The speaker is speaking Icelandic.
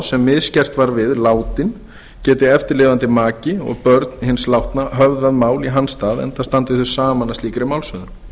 sem misgert var við látinn geti eftirlifandi maki og börn hins látna höfðað mál í hans stað enda standi þau saman að slíkri málshöfðun